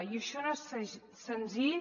i això no és senzill